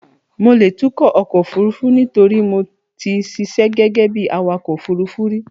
Mo lè tukọ̀ ọkọ̀ òfurufú nítorí mo ti ṣiṣẹ́ gẹ́gẹ́ bí awakọ̀ òfurufú rí.